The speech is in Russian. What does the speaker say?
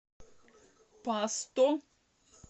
пасто